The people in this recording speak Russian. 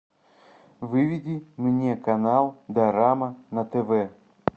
выведи мне канал дорама на тв